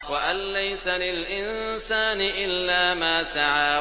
وَأَن لَّيْسَ لِلْإِنسَانِ إِلَّا مَا سَعَىٰ